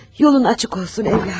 Yolun açıq olsun evladım.